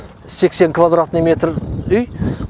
сексен квадратный метр үй